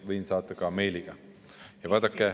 Võin saata vastuse ka meiliga.